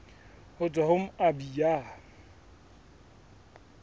ho tswa ho moabi ya